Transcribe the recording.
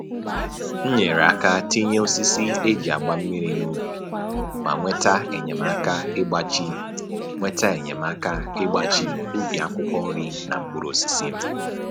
M nyere aka tinye osisi e ji agba mmiri n'ubi ma nweta enyemaka ịgbachi nweta enyemaka ịgbachi ubi akwụkwọ nri na mkpụrụosisi m